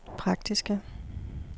praktiske